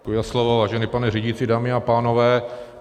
Děkuji za slovo, vážený pane řídící, dámy a pánové.